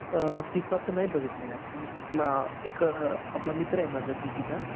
अ फिफाचं नाही बघितलं यार ते पण अ एक मित्र आहे आपला